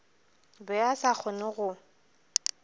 be a sa kgone go